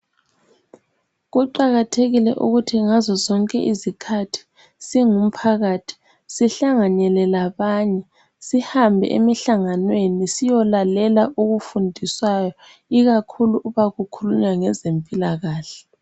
Kuqakathekile ukuthi ngazozonke izikhathi singumphakathi sihlanganele labanye sihambe emhlanganweni siyolalela okufundiswayo ikakhulu uba kukhulunywa ngezempilakahle